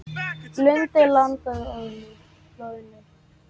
Lundey landaði loðnu